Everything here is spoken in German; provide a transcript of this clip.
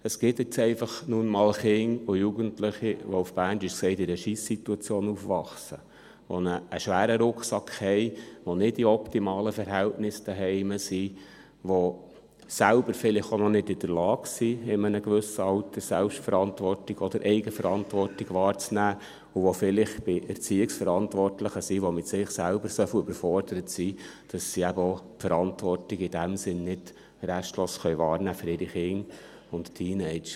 Es gibt nun einfach mal Kinder und Jugendliche, die auf Berndeutsch gesagt in einer Scheiss-Situation aufwachsen und einen schweren Rucksack haben, die nicht in optimalen Verhältnissen zu Hause sind, die selber vielleicht auch noch nicht in der Lage sind, in einem gewissen Alter Selbstverantwortung oder Eigenverantwortung wahrzunehmen, und die vielleicht bei Erziehungsverantwortlichen sind, die mit sich selber so überfordert sind, dass sie eben auch die Verantwortung für ihre Kinder und Teenager in diesem Sinn nicht restlos wahrnehmen können.